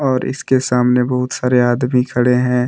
और इसके सामने बहुत सारे आदमी खड़े हैं।